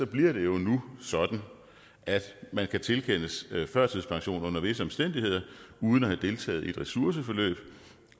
bliver det jo nu sådan at man kan tilkendes førtidspension under visse omstændigheder uden at have deltaget i ressourceforløb